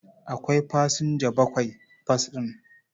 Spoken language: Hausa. Akwai fasinja bakwai bas ɗin.